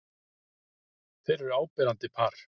Þau eru áberandi par.